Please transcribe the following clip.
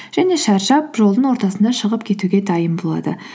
және шаршап жолдың ортасында шығып кетуге дайын болады